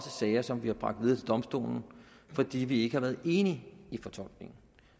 sager som vi har bragt videre til domstolen fordi vi ikke har været enige i fortolkningen